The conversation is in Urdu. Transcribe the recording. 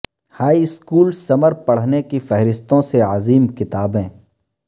ہائی اسکول سمر پڑھنے کی فہرستوں سے عظیم کتابیں